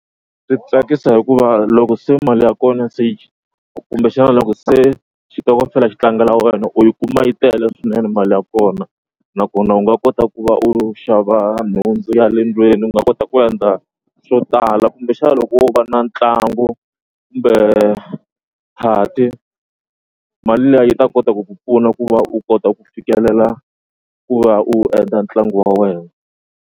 Swi tsakisa hikuva loko se mali ya kona kumbexana loko se xitokofela xi tlangela wena u yi kuma yi tele swinene mali ya kona nakona u nga kota ku va u xava nhundzu ya le ndlwini u nga kota ku endla swo tala kumbexana loko wo va na ntlangu kumbe party mali liya yi ta kota ku ku pfuna ku va u kota ku fikelela ku va u endla ntlangu wa wena.